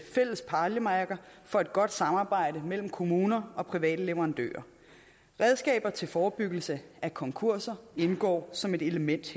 fælles pejlemærker for et godt samarbejde mellem kommuner og private leverandører redskaber til forebyggelse af konkurser indgår som et element